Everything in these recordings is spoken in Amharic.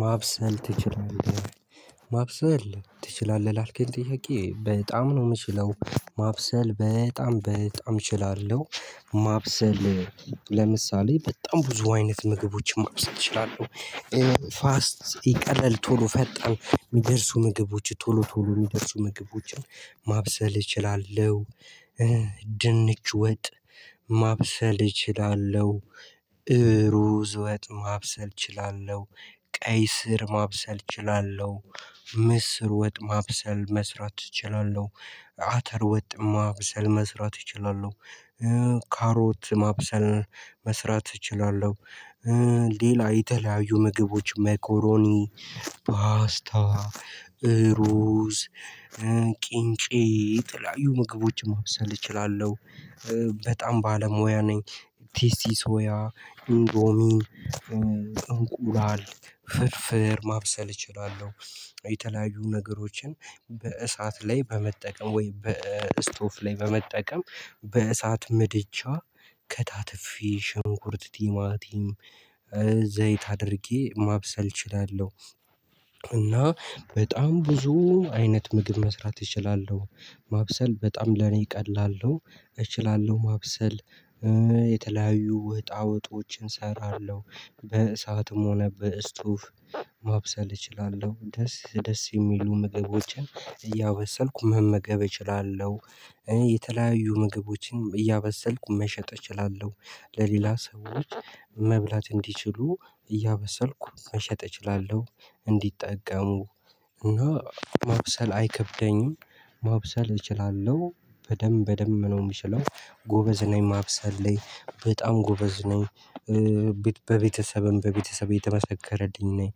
ማብሰል ትችላለህ? ማብሰል ትችላለህ ላልከኝ ጥያቄ በጣም ነው የምችለው ማብሰል በጣም በጣም እችላለሁ። ማብሰል ለምሳሌ በጣም ብዙ አይነት ምግቦችን ማብሰል እችላለሁ። ፋስት ይቀለል ቶሎ ፈጣን የሚደርሱ ምግቦች ቶሎ ቶሎ የሚደርሱ ምግቦችን ማብሰል እችላለሁ። ድንች ወጥ ማብሰል እችላለሁ። ሩዝ ወጥ ማብሰል እችላለሁ። ቀይ ስር ማብሰል እችላለሁ። ምስር ወጥ ማብሰል መስራት እችላለሁ። አተር ወጥ ማብሰል መስራት እችላለሁ። ካሮት ማብሰል መስራት እችላለሁ። ሌላ የተለያዩ ምግቦች መኮሮኒ ፓስታ እሩዝ ቂንጬ የተለያዩ ምግቦችን ማብሰል እችላለሁ። በጣም ባለሙያ ነኝ። ቲሲ ሶያ ኢንዶሚ እንቁላል ፍርፍር ማብሰል እችላለሁ። የተለያዩ ነገሮችን በእሳት ላይ በመጠቀም ወይ በስቶፍ ላይ በመጠቀም በእሳት ምድጃ ከታተፌ ሽንኩርት ቲማቲም ዘይት አድርጌ ማብሰል እችላለሁ። እና በጣም ብዙ አይነት ምግብ መስራት እችላለሁ። ማብሰል በጣም ለኔ ቀላል ነው። እችላለሁ ማብሰል። የተለያዩ ወጣወጦችን እሰራለሁ በእሳትም ሆነ በስቱፍ ማብሰል እችላለሁ ደስ ደስ የሚሉ ምግቦችን እያበሰልኩ መመገብ እችላለሁ። የተለያዩ ምግቦችን እያበሰልኩ መሸጥ እችላለሁ። ለሌላ ሰዎች መብላት እንዲችሉ እያበሰልኩ መሸጥ እችላለሁ። እንዲጠቀሙ እና ማብሰል አይከብደኝም። ማብሰል እችላለሁ በደንብ በደንብ ነው የምችለው ጎበዝ ነኝ ማብሰል ላይ በጣም ጎበዝ ነኝ። በቤተሰብም በቤተሰብ የተመሰከረልኝ ነኝ።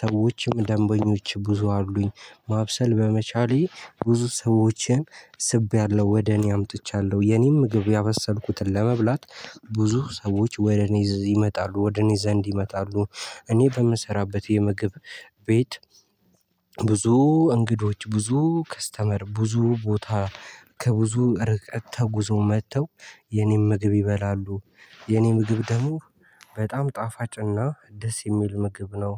ሰዎችም ደንበኞች ብዙ አሉኝ። ማብሰል በመቻሌ ብዙ ሰዎችን ስቤያለው ወደ እኔ አምጥቻለሁ የኔን ምግብ ያበሰልኩትን ለመብላት ብዙ ሰዎች ወደ እኔ ይመጣሉ ወደ እኔ ዘንድ ይመጣሉ። እኔ በምሰራበት የምግብ ቤት እንግዶች ብዙ ከስተመር ብዙ ቦታ ከብዙ ርቀት ተጉዞ መጥተው የኔን ምግብ ይበላሉ። የኔ ምግብ ደግሞ በጣም ጣፋጭና ደስ የሚል ምግብ ነው